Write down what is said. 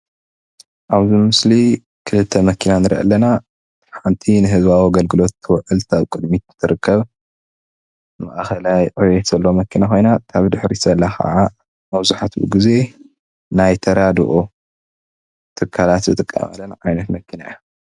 ኣብዚ ምስሊ ክልተ መኪና ንርኢ ኣለና ሓንቲ ንህዝባዊ ኣገልግሎት ትዉዕል ኣብ ቅድሚት ትርከብ። ማእኸላይ ዕቤት ዘለዋ መኪና ኮይና እታ ብድሕሪት ዘላ ካዓ መብዛሕቲኡ ግዜ ናይ ተራድኦ ትካላት ዝጥቀማለን ዓይነት መኪና እያ።